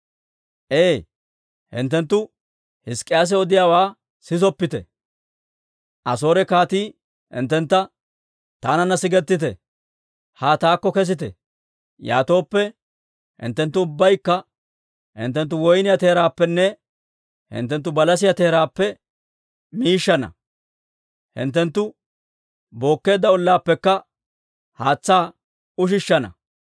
«Ee, hinttenttu Hizk'k'iyaase odiyaawaa sisoppite. Asoore kaatii hinttentta, ‹Taananna sigettite; haa taakko kesite. Yaatooppe hinttenttu ubbaykka hinttenttu woyniyaa teeraappenne hinttenttu balasiyaa teeraappe miishshana; hinttenttu bookkeedda ollaappekka haatsaa ushishshana.